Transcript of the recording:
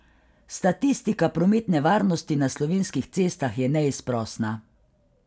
Statistika prometne varnosti na slovenskih cestah je neizprosna.